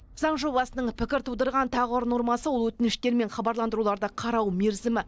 заң жобасының пікір тудырған тағы бір нормасы ол өтініштер мен хабарландыруларды қарау мерзімі